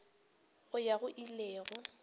go ya go ile go